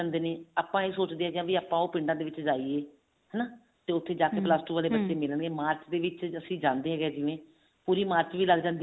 ਹੁੰਦੇ ਨੇ ਆਪਾਂ ਇਹ ਸੋਚਦੇ ਹਾਂ ਕੇ ਆਪਾਂ ਉਹ ਪਿੰਡਾਂ ਦੇ ਵਿੱਚ ਜਾਈਏ ਹਨਾ ਤੇ ਉੱਥੇ ਜਾ ਕੇ ਬੱਚੇ ਮਿਲਣਗੇ ਮਾਰਚ ਦੇ ਵਿੱਚ ਅਸੀਂ ਜਾਂਦੇ ਹੈਗੇ ਆਂ ਜਿਵੇਂ ਪੂਰੀ ਮਾਰਚ ਵੀ ਲੱਗ ਜਾਂਦੀ